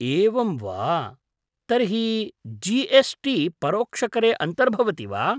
एवं वा, तर्हि जी एस् टी परोक्षकरे अन्तर्भवति वा?